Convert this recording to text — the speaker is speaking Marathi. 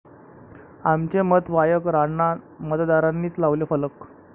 आमचे मत वायकरांना',मतदारांनीच लावले फलक